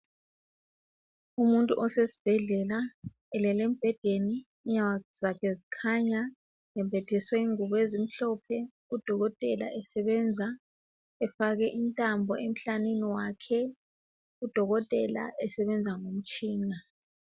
umuntu osesibhedlela elele embhedeni inyawo zakhe zikhanya embathiswe ingubo ezimhlophe udokotela esebenza efake intambo emhlanini wakhe udokotela esebenza ngomtshina